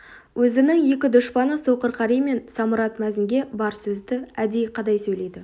өзінің екі дұшпаны соқыр қари мен самұрат мәзінге бар сөзді әдейі қадай сөйлейді